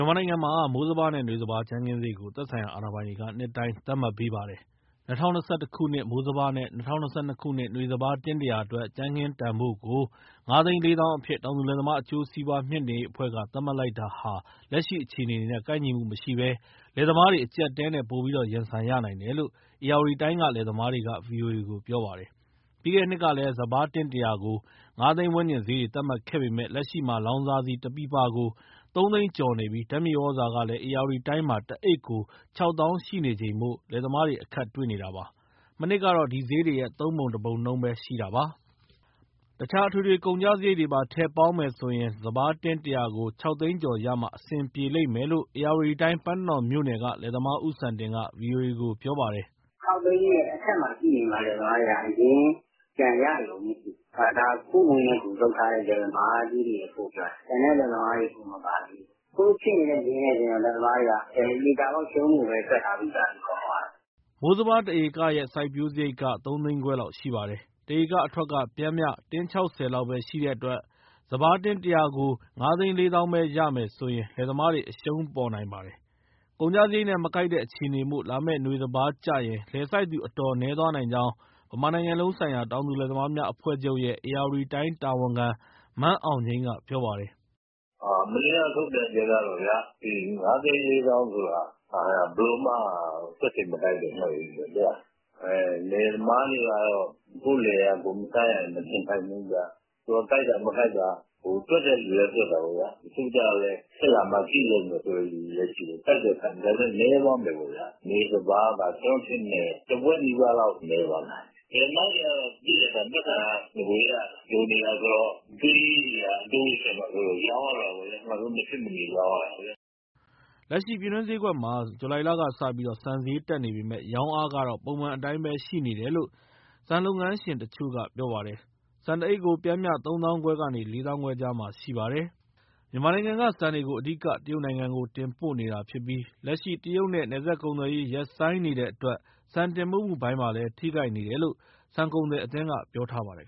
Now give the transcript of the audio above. ြန်မာနိုင်ငံမှာ မိုးစပါးနဲ့နွေစပါး ကြမ်းခင်းဈေးကို သက်ဆိုင်ရာအာဏာပိုင်တွေက နှစ်တိုင်း သတ်မှတ်ပေးပါတယ်။ ၂၀၂၁ ခုနှစ် မိုးစပါးနဲ့ ၂၀၂၂ ခုနှစ် နွေစပါး တင်း ၁၀၀ အတွက် ကြမ်းခင်းတန်ဖိုးကို ကျပ် ၅၄၀,၀၀၀ အဖြစ် တောင်သူလယ်သမား အကျိုးစီးပွား မြှင့်တင်ရေးအဖွဲ့က သတ်မှတ်လိုက်တာဟာ လက်ရှိအခြေအနေနဲ့ ကိုက်ညီမှုမရှိဘဲ လယ်သမားတွေ အကြပ်အတည်းနဲ့ ပိုပြီးရင်ဆိုင်ရနိုင်တယ်လို့ ဧရာဝတီတိုင်းက လယ်သမားတွေက ဗွီအိုအေကို ပြောပါတယ်။ ပြီးခဲ့တဲ့နှစ်တွေကလည်း စပါးတင်း ၁၀၀ ကို ၅ သိန်းဝန်းကျင်ဈေးတွေ သတ်မှတ်ပေးခဲ့ပေမဲ့ လက်ရှိမှာ လောင်စာဆီ တပီပါကို ကျပ် ၃၀၀,၀၀၀ ကျော်နေပြီး ဓာတ်မြေဩဇာကလည်း ဧရာဝတီတိုင်းမှာ တအိတ်ကို ကျပ် ၆၀,၀၀၀ ရှိနေချိန်မို့ လယ်သမားတွေ အခက်တွေ့နေတာပါ။ မနှစ်ကတော့ ဒီဈေးတွေရဲ့ သုံးပုံတပုံနှုန်းပဲ ရှိတာပါ။ တခြား အထွေထွေကုန်ကျစရိတ်တွေပါ ထည့်ပေါင်းမယ်ဆိုရင် စပါးတင်း ၁၀၀ ကို ၆၀၀,၀၀၀ ကျော်ရမှ အဆင်ပြေလိမ့်မယ်လို့ ဧရာဝတီတိုင်း၊ ပန်းတနော်မြို့နယ်က လယ်သမားဦးစံတင်က ဗွီအိုအေ ကို ပြောပါတယ်။ “၆ သိန်းရဲ့ အထက်မှာရှိနေမှ လယ်သမားတွေက အရင်းပြန်ရရုံပဲရှိမှာ။ ဒါ ကိုယ့်ငွေနဲ့ကိုယ် လုပ်ထားတဲ့ လယ်သမားကြီးတွေအဖို့ ပြောတာ၊ ကျန်တဲ့ လယ်သမားတွေ မပါသေးဘူး။ အခုဖြစ်နေတဲ့ ဈေးနဲ့ ဆိုရင် လယ်သမားတွေက သေချာပေါက်ရှုံးဖို့ပဲ တွက်ထားပြီးသားလေ အကုန်လုံးက။” မိုးစပါးတဧကရဲ့ စိုက်ပျိုးစရိတ်က ကျပ် ၃၅၀,၀၀၀ လောက်ရှိပါတယ်။ တဧကအထွက်က ပျမ်းမျှ တင်း ၆၀ လောက်ပဲ ရှိတဲ့အတွက် စပါးတင်း ၁၀၀ ကို ၅၄၀,၀၀၀ ပဲရမယ်ဆိုရင် လယ်သမားတွေ အရှုံးပေါ်နိုင်ပါတယ်။ ကုန်ကျစရိတ်နဲ့ မကိုက်တဲ့အခြေအနေမို့ လာမယ့်နွေစပါးကျရင် လယ်စိုက်သူ အတော်နည်းသွားနိုင်ကြောင်း ဗမာနိုင်ငံလုံးဆိုင်ရာ တောင်သူလယ်သမားများအဖွဲ့ချုပ်ရဲ့ ဧရာဝတီတိုင်း တာဝန်ခံ မန်းအောင်ငြိမ်းက ပြောပါတယ်။ “မနေ့က ထုတ်ပြန်ချက်က ၅၄၀,၀၀၀ ဆိုတာ ဘယ်လိုမှ တွက်ခြေမကိုက်တဲ့ဈေးပဲ။ လယ်သမားတွေကတော့ ကိုယ့်လယ်ယာ ကိုယ်မစိုက်ရရင် မနေနိုင်ဘူးဗျ။ ကိုက်တာ မကိုက်တာ တွက်တဲ့သူလည်း တွက်တာပေါ့ဗျာ၊ တချို့ကျတော့လည်း ဖြစ်လာမှ ကြည့်လုပ်မယ်ဆိုတဲ့ လူလည်းရှိတယ်။ စိုက်တော့စိုက်မယ် ဒါပေမဲ့ နည်းသွားမယ်ပေါ့ဗျာ၊ နွေစပါးက ကျနော်ထင်တယ်၊ တဝက်နည်းပါးလောက် နည်းသွားနိုင်တယ်။ လယ်သမားတွေကတော့ သိတဲ့အတိုင်းပဲ ပိုက်ဆံက နဂိုကတည်းက လိုနေတာဆိုတော့ အကြွေးတွေက အတိုးတွေ တက်မှာစိုးလို့ ရောင်းရတော့တာပေါ့ဗျာ၊ နောက်ဆုံး မဖြစ်မနေ ရောင်းရတာပေါ့ဗျာ။” လက်ရှိ ပြည်တွင်းဈေးကွက်မှာ ဇူလိုင်လကစပြီး ဆန်ဈေးတက်နေပေမဲ့ ရောင်းအားကတော့ ပုံမှန်အတိုင်းပဲရှိနေတယ်လို့ ဆန်လုပ်ငန်းရှင်တချို့က ပြောပါတယ်။ ဆန်တအိတ်ကို ပျှမ်းမျှ ၃ သောင်းခွဲကနေ ၄ သောင်းခွဲကြားမှာရှိပါတယ်။ မြန်မာနိုင်ငံက ဆန်တွေကို အဓိက တရုတ်နိုင်ငံကို တင်ပို့နေတာဖြစ်ပြီး လက်ရှိ တရုတ်နဲ့ နယ်စပ်ကုန်သွယ်ရေး ရပ်ဆိုင်းနေတဲ့အတွက် ဆန်တင်ပို့မှုပိုင်းလည်း ထိခိုက်နေတယ်လို့ ဆန်ကုန်သည်အသင်းက ပြောထားပါတယ်